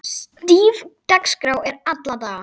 Stíf dagskrá er alla daga.